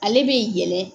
Ale bi yɛlɛ